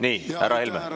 Nii, härra Helme!